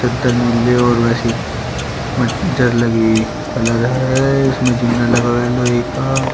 त नीले और वैसी म जर लगी हुई कलर है इसमें जिंना लगा है लोहे का।